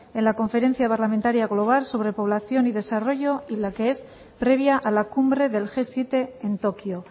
en la conferencia parlamentaria global sobre población y desarrollo y la que es previa a la cumbre del ge siete en tokio